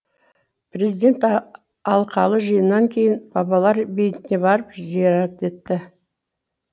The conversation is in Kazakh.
президент алқалы жиыннан кейін бабалар бейітіне барып зиярат етті